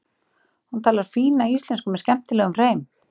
Hún talar fína íslensku með skemmtilegum hreim.